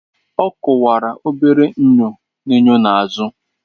Ọ kwụwara obere enyo n'enyo n'azụ